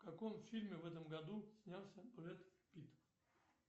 в каком фильме в этом году снялся брэд питт